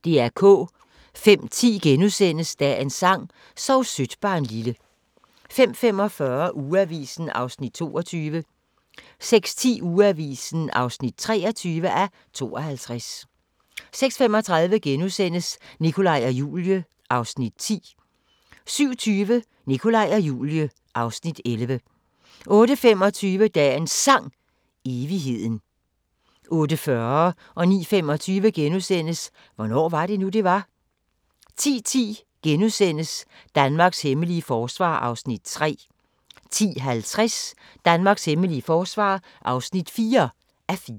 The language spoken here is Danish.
05:10: Dagens sang: Sov sødt barnlille * 05:45: Ugeavisen (22:52) 06:10: Ugeavisen (23:52) 06:35: Nikolaj og Julie (Afs. 10)* 07:20: Nikolaj og Julie (Afs. 11) 08:25: Dagens Sang: Evigheden 08:40: Hvornår var det nu, det var? * 09:25: Hvornår var det nu, det var? * 10:10: Danmarks hemmelige forsvar (3:4)* 10:50: Danmarks hemmelige forsvar (4:4)